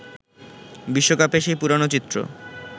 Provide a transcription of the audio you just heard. বিশ্বকাপে সেই পুরনো চিত্র